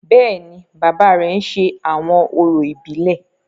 Bẹ́ẹ̀ni, baba rẹ ń ṣe awọn orȯ ibilẹ.